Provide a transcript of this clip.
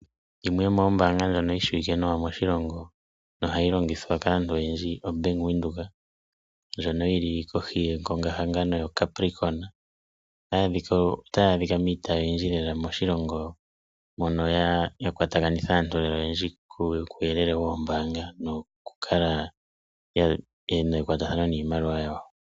Yimwe yomoombanga ndjoka yi shiwike nawa moshilongo noha yi longithwa kaantu oyendji oBank Windhoek ndjoka yili kohi yengongahangano lyoCapricon otayi adhika miitayi oyindji lela moshilongo mono ya kwatakanitha aantu lela oyendji kuuyelele woombanga nokukala ye na ekwatathano niimaliwa yawo.